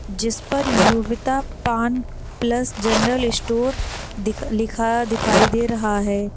जिस पर योविता पान प्लस जनरल स्टोर दिख लिखा दिखाई दे रहा है।